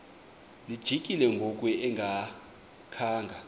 lijikile ngoku engakhanga